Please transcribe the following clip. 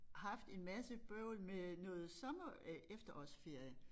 Haft en masse bøvl med noget sommer øh efterårsferie